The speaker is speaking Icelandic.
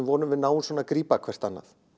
vona að við náum að grípa hvert annað